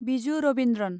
Biju Ravindran